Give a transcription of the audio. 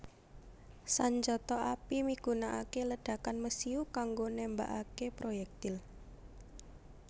Sanjata api migunakaké ledhakan mesiu kanggo nembakaké proyèktil